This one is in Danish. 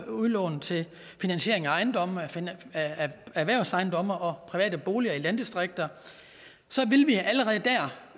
udlån til finansiering af erhvervsejendomme og private boliger i landdistrikter så